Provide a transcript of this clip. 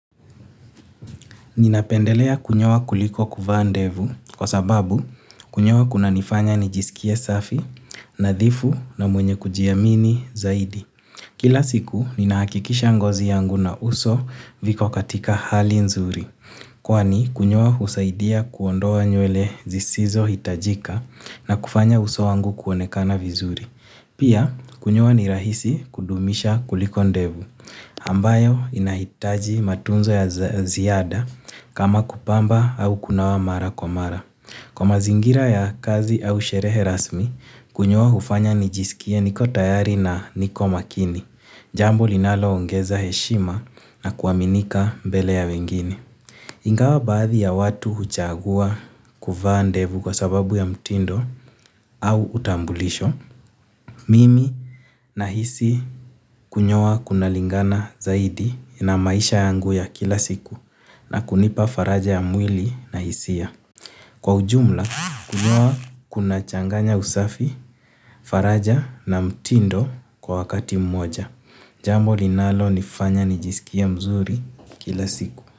Ninapendelea kunyoa kuliko kuvaa ndevu kwa sababu kunyoa kunanifanya nijisikie safi, nadhifu na mwenye kujiamini zaidi. Kila siku ninahakikisha ngozi yangu na uso viko katika hali nzuri. Kwani kunyoa husaidia kuondoa nywele zisizohitajika na kufanya uso wangu kuonekana vizuri. Pia, kunyoa ni rahisi kudumisha kuliko ndevu, ambayo inahitaji matunzo ya ziada kama kupamba au kunawa mara kwa mara. Kwa mazingira ya kazi au sherehe rasmi, kunyoa hufanya nijisikie niko tayari na niko makini, jambo linaloongeza heshima na kuaminika mbele ya wengine. Ingawa baadhi ya watu huchagua kuvaa ndevu kwa sababu ya mtindo au utambulisho. Mimi nahisi kunyoa kunalingana zaidi na maisha yangu ya kila siku na kunipa faraja ya mwili na hisia. Kwa ujumla kunyoa kunachanganya usafi, faraja na mtindo kwa wakati mmoja. Jambo linalonifanya nijisikie mzuri kila siku.